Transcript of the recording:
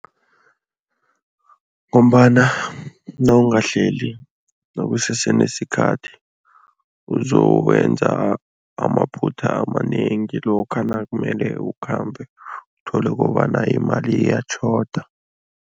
Ngombana nawungahleli nakusese nesikhathi, ukuzokwenza amaphutha amanengi lokha nakumele ukhambe, uthole kobana imali iyatjhoda.